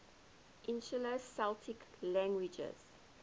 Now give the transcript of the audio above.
insular celtic languages